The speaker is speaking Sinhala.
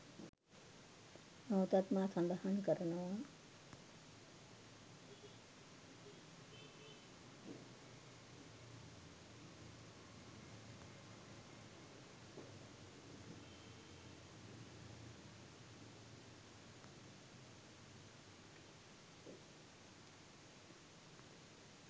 නැවතත් මා සඳහන් කරනවා.